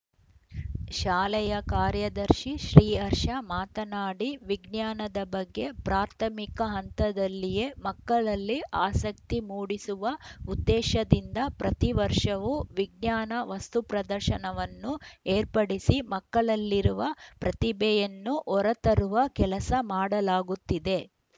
ಶಾಲೆಯ ಕಾರ್ಯದರ್ಶಿ ಶ್ರೀಹರ್ಷ ಮಾತನಾಡಿ ವಿಜ್ಞಾನದ ಬಗ್ಗೆ ಪ್ರಾಥಮಿಕ ಹಂತದಲ್ಲಿಯೇ ಮಕ್ಕಳಲ್ಲಿ ಆಸಕ್ತಿ ಮೂಡಿಸುವ ಉದ್ದೇಶದಿಂದ ಪ್ರತಿ ವರ್ಷವೂ ವಿಜ್ಞಾನ ವಸ್ತುಪ್ರದರ್ಶನವನ್ನು ಏರ್ಪಡಿಸಿ ಮಕ್ಕಳಲ್ಲಿರುವ ಪ್ರತಿಭೆಯನ್ನು ಹೊರತರುವ ಕೆಲಸ ಮಾಡಲಾಗುತ್ತಿದೆ